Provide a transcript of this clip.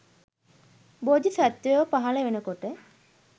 බෝධි සත්ත්වයෝ පහළ වෙන කොට